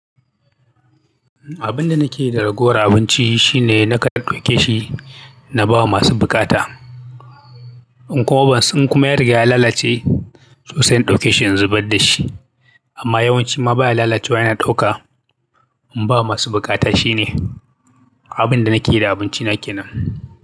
Abin da nake da ragowar abinci shine na kan ɗauke shi na bawa masu bukata. In kuma ban sun kuma ya riga ya lalace to sai in ɗauke shi in zubar da shi. Amma yawanci ma ba ya lalacewa ina ɗauka in ba masu bukata shine abin da nake yi da abinci na ke nan.